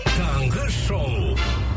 таңғы шоу